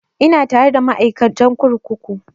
Ina tare da ma'aikatan kurkuku